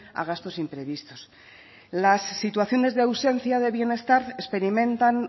a gastos imprevistos las situaciones de ausencia de bienestar experimentan